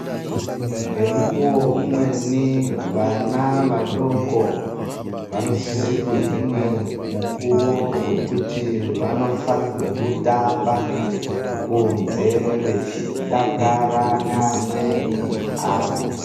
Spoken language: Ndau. Ngemukuwo umweni vana vadoko vanosise kuhinwa mukuwo wekuti vanofanirwa kutamba kunze vechidakara neamweni avo .